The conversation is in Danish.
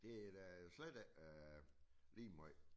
Det er da slet ikke øh lige måj